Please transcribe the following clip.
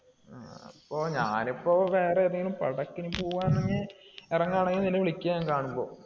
അപ്പൊ ഞാനിപ്പോ വേറേതെങ്കിലും പടത്തിനു പോവാണെങ്കിൽ ഇറങ്ങാണെങ്കിൽ നിന്നെ വിളിക്കാം കാണുമ്പോ.